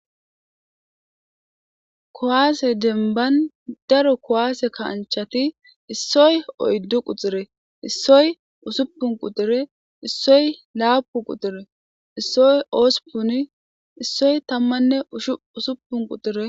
Kuwaase denban daro kowaase kaanchati issoy oyddu quxire issoy usuppun qutxire issoy laapu quxire issoy oosupuni issoy tammanne shusuppun quxire.